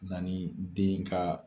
Na ni den ka